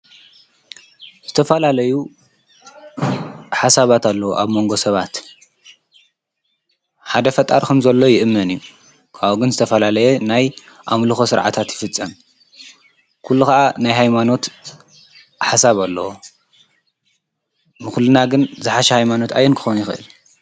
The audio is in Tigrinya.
ዝተፈላለዩ ሓሰባት ኣለዉ ኣብ መንጎ ሰባት ሓደ ፈጣሪ ከም ዘሎ ይእምን ካውኡ ግን ዝተፈላለየ ናይ ኣምልኮ ስርዓታት ይፍፀም። ኩሉ ከዓ ናይ ሃይማኖት ሓሳብ ኣለዎ። ንኩልና ግን ዝሓሸ ሃይማኖት ኣየን ክኮን ይክእል?